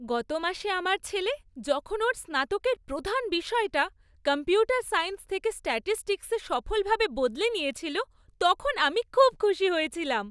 গত মাসে আমার ছেলে যখন ওর স্নাতকের প্রধান বিষয়টা কম্পিউটার সায়েন্স থেকে স্ট্যাটিসটিক্সে সফলভাবে বদলে নিয়েছিল, তখন আমি খুব খুশি হয়েছিলাম।